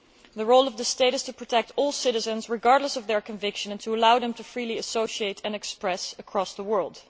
The role of the state is to protect all citizens, regardless of their conviction, and to allow them to freely associate and express themselves across the world.